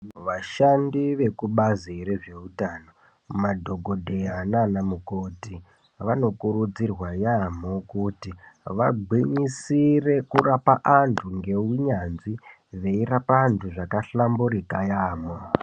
Vashandi vekubhazi rezvehutano, madhokodheya nanamukoti, vanokurudzirwa yamo kuti vagwinyisire kurapa antu ngewunyanzvi. Veyirapa antu zvakahlamburika yamo.